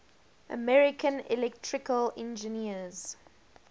american electrical engineers